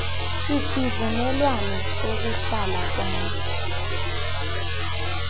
isivumelwano sokuhlala kwam